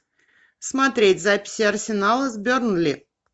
смотреть записи арсенала с бернли